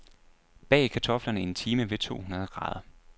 Bag kartoflerne en time ved to hundrede grader.